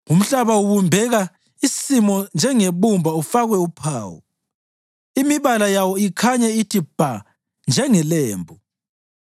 Umhlaba ubumbeka isimo njengebumba ufakwe uphawu; imibala yawo ikhanye ithi bha njengelembu.